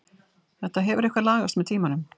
Þetta hefur eitthvað lagast með tímanum.